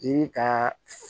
Yiri ka